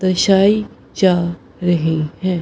दर्शाइ जा रही है।